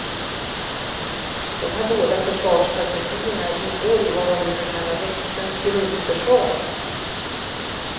De här båda försvarsstrategierna ingår i vad man brukar kalla växtens grundförsvar.